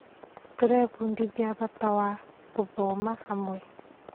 Tũrebundithia bata wa gũthoma hamwe.